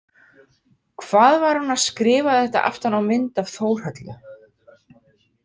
Hvað var hún að skrifa þetta aftan á mynd af Þórhöllu?